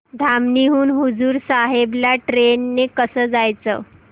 धामणी हून हुजूर साहेब ला ट्रेन ने कसं जायचं